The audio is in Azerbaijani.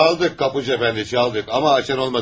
Çaldıq qapıçı əfəndi, çaldıq, amma açan olmadı.